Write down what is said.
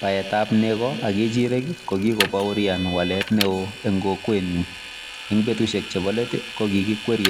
Peet ap nego ak kechireek ko pa kamanuut eng kokwet nyuun ko kikokoon waleeet neoo neaaa eng petusheek ap nguniii koo makotyaaaa kikichopchin karik